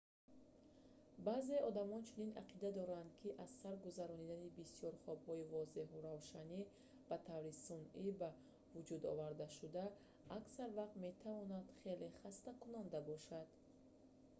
баъзеи одамон чунин ақида доранд ки аз сар гузаронидани бисёр хобҳои возеҳу равшани ба таври сунъӣ ба вуҷудовардашуда аксар вақт метавонад хеле хастакунанда бошад